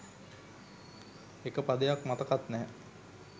එක පදයක් මතකත් නැහැ